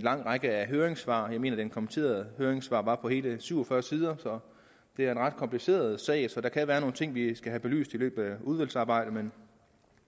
lang række af høringssvar jeg mener at de kommenterede høringssvar var på hele syv og fyrre sider så det er en ret kompliceret sag og der kan være nogle ting som vi skal have belyst i løbet af udvalgsarbejdet men